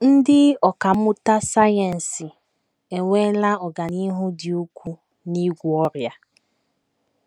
Ndị ọkà mmụta sayensị enweela ọganihu dị ukwuu n’ịgwọ ọrịa.